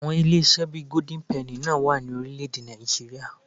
Àwọn ilé-iṣẹ́ bí i Golden penny náà wà ní orílẹ̀-èdè Nàìjííríà